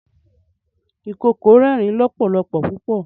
ìkookò rẹrin lọpọlọpọ pupọ.